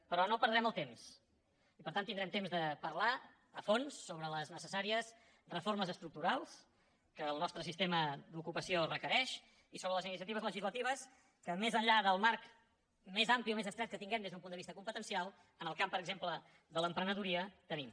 però no perdrem el temps i per tant tindrem temps de parlar a fons sobre les necessàries reformes estructurals que el nostre sistema d’ocupació requereix i sobre les iniciatives legislatives que més enllà del marc més ampli o més estret que tinguem des d’un punt de vista competencial en el camp per exemple de l’emprenedoria tenim